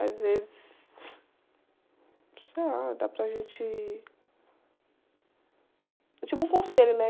Às vezes, sei lá, dá para gente... É tipo um conselho, né?